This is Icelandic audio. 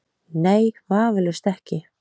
Nei, vafalaust ekki.